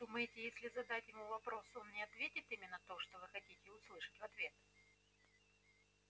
думаете если задать ему вопрос он не ответит именно то что вы хотите услышать в ответ